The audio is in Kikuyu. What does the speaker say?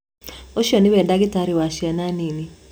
Ũcio nĩwe dagĩtarĩ wa ciana nini